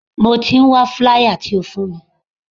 Mo ti ń wá flier tí o fún mi.